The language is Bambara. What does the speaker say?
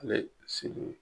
sigi.